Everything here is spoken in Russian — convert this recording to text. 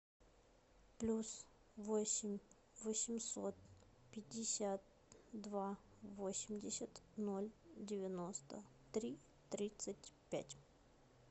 плюс восемь восемьсот пятьдесят два восемьдесят ноль девяносто три тридцать пять